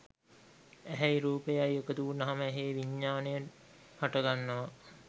ඇහැයි රූපයයි එකතු වුනහම ඇහේ විඤ්ඤාණය හටගන්නවා